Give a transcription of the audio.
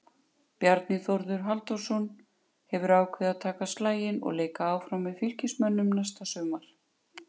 Bjarni Þórður Halldórsson hefur ákveðið að taka slaginn og leika áfram með Fylkismönnum næsta sumar.